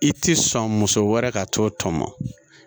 I tɛ sɔn muso wɛrɛ ka to tɔmɔ